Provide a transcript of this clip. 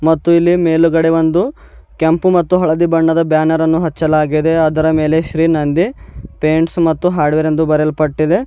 ಮತ್ತು ಇಲ್ಲಿ ಮೇಲುಗಡೆ ಒಂದು ಕೆಂಪು ಮತ್ತು ಹಳದಿ ಬಣ್ಣದ ಬ್ಯಾನರ ಅನ್ನು ಹಚ್ಚಲಾಗಿದೆ ಅದರ ಮೇಲೆ ಶ್ರೀ ನಂದಿ ಪೇಂಟ್ಸ್ ಮತ್ತು ಹಾರ್ಡ್ವೇರ್ ಎಂದು ಬರಿಯಲ್ಪಟ್ಟಿದೆ.